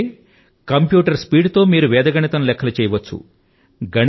ఎందుకంటే కంప్యూటర్ యొక్క స్పీడ్ తో మీరు వేద గణితం లెక్కలు చేయవచ్చు